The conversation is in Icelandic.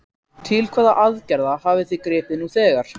Til hvaða aðgerða hafið þið gripið nú þegar?